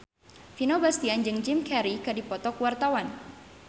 Vino Bastian jeung Jim Carey keur dipoto ku wartawan